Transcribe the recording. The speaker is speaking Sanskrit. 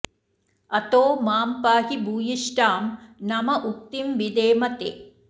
अतो मां पाहि भूयिष्ठां नम उक्तिं विधेम ते